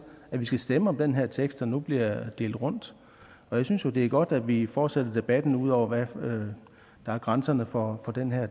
at vi skal stemme om den her tekst der nu bliver delt rundt jeg synes jo det er godt at vi fortsætter debatten ud over hvad der er grænserne for den